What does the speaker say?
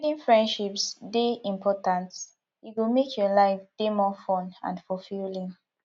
building friendships dey important e go make your life dey more fun and fulfilling